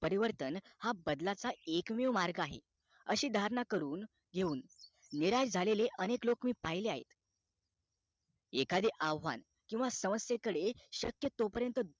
परिवर्तन हा बदलाचा एकमेव मार्ग आहे अशी धारणा करून घेऊन निराश झालेले अनेक लोक मी पाहिजे आहे एखादे आव्हान किंवा साम्यसे कडे शक्य तोपर्यंत